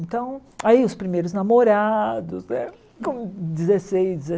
Então, aí os primeiros namorados, né? Com dezesseis